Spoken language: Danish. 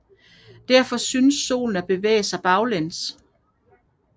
Derfor synes Solen at bevæge sig baglæns